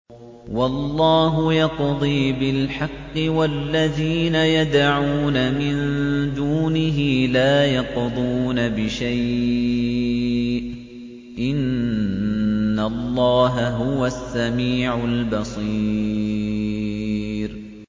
وَاللَّهُ يَقْضِي بِالْحَقِّ ۖ وَالَّذِينَ يَدْعُونَ مِن دُونِهِ لَا يَقْضُونَ بِشَيْءٍ ۗ إِنَّ اللَّهَ هُوَ السَّمِيعُ الْبَصِيرُ